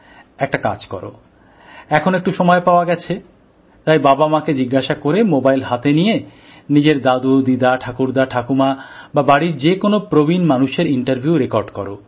একটা কাজ করো এখন একটু সময় পাওয়া গেছে তাই বাবা মাকে জিজ্ঞাসা করে মোবাইল হাতে নিয়ে নিজের দাদু দিদা ঠাকুরদা ঠাকুমা বা বাড়ির যেকোনো প্রবীণ মানুষের ইন্টারভিউ রেকর্ড করো